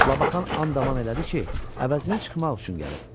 Labakan and-aman elədi ki, əvəzini çıxmaq üçün gəlib.